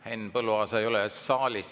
Henn Põlluaasa ei ole saalis.